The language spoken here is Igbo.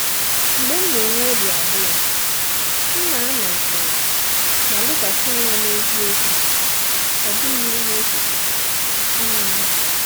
Mgbe m na-enwe obi abụọ, m na-anọ jụụ ma lekwasị anya n’eziokwu, ọ bụghị n’echiche. um